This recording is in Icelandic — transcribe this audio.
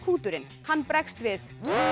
hljóðkúturinn bregst við